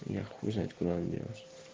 я хуй знает куда она делась